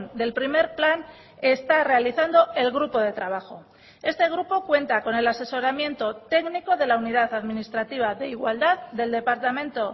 del primer plan está realizando el grupo de trabajo este grupo cuenta con el asesoramiento técnico de la unidad administrativa de igualdad del departamento